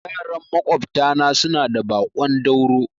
Yaran maƙwabta na suna da baƙon dauro